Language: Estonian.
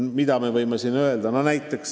Millele me võime siin viidata?